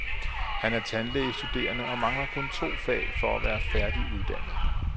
Han er tandlægestuderende og mangler kun to fag for at være færdiguddannet.